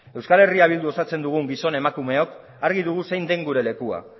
euskal herria bildu osatzen dugun gizon emakumeok argi dugu zein den gure lekua